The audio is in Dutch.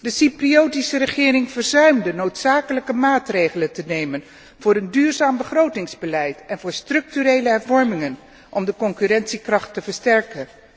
De Cypriotische regering verzuimde noodzakelijke maatregelen te nemen voor een duurzaam begrotingsbeleid en voor structurele hervormingen om de concurrentiekracht te versterken.